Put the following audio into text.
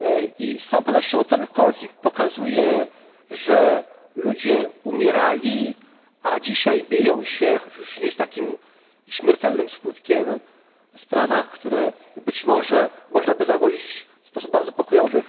i z całą pewnością ten konflikt pokazuje, że ludzie umierali, a dzisiaj biją się, choć już nie z takim śmiertelnym skutkiem w sprawach, które być można by załagodzić w sposób bardzo pokojowy.